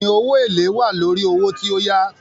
Bẹ́ẹ̀ni, owó èlèé wà lórí owó tí o yá.